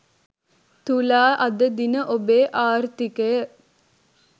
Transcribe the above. තුලා අද දින ඔබේ ආර්ථිකය